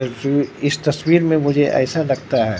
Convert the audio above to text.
इस तस्वीर में मुझे ऐसा लगता है।